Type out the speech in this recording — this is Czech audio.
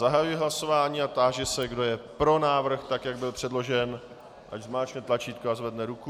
Zahajuji hlasování a táži se, kdo je pro návrh, tak jak byl předložen, ať zmáčkne tlačítko a zvedne ruku.